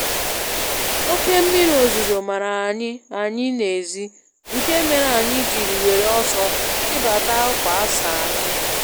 Oke mmịrị ozuzo mara anyị anyị n'ezi, nke mere anyị jiri wéré ọsọ chibata ákwà asara mmiri.